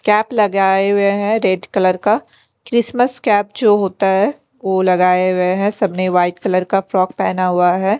Cap लगाए हुए हैं रेड कलर का क्रिसमस कैप जो होता है वो लगाए हुए हैं सबने वाइट कलर का फ्रॉक पहना हुआ है।